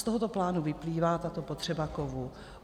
Z tohoto plánu vyplývá tato potřeba kovů.